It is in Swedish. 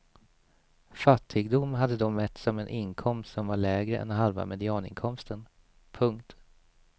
Fattigdom hade då mätts som en inkomst som var lägre än halva medianinkomsten. punkt